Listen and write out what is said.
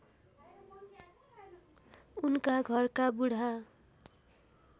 उनका घरका बुढा